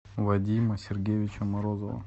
вадима сергеевича морозова